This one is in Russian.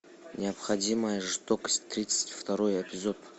необходимая жестокость тридцать второй эпизод